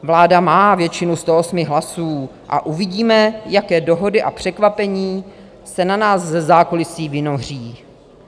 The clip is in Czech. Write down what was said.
Vláda má většinu 108 hlasů a uvidíme, jaké dohody a překvapení se na nás ze zákulisí vynoří.